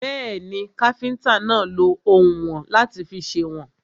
Bẹ́ẹ̀ni, káfíntà náà lọ oùnwọ̀n láti fi sèwọ̀n.